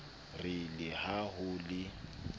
re le ha ho le